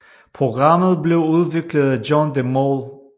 Programmet blev udviklet af John de Mol